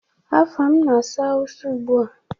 Afam na-asụ Hausa ụgbua?